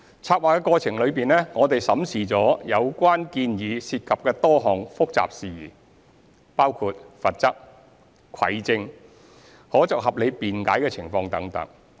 籌劃過程中，我們審視了有關建議涉及的多項複雜事宜，包括罰則、蒐證、可作合理辯解的情況等。